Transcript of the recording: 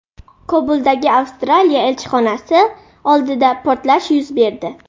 Kobuldagi Avstraliya elchixonasi oldida portlash yuz berdi.